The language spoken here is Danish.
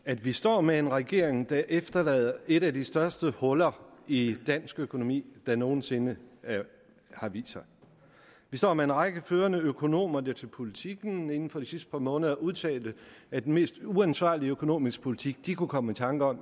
at vi står med en regering der efterlader et af de største huller i dansk økonomi der nogen sinde har vist sig vi står med en række førende økonomer der til politiken inden for de sidste par måneder har udtalt at den mest uansvarlige økonomiske politik i de kunne komme i tanke om